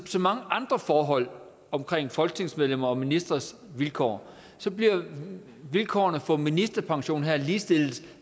så mange andre forhold om folketingsmedlemmers og ministres vilkår bliver vilkårene for ministerpension her ligestillet